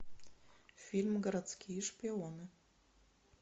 фильм городские шпионы